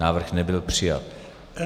Návrh nebyl přijat.